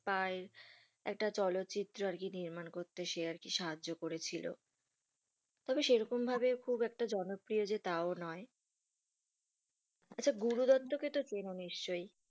তার একটা চলচিত্র আর কি নির্মাণ করতে সে আর কি সাহায্য করেছিল, সেই রকম ভাবে খুব একটা জনপ্রিয় যে তাও নয়, আচ্ছা গুরু দত্ত কে তো চেনো নিশ্চই?